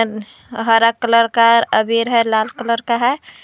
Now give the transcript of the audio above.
हरा कलर का अबीर है लाल कलर का है।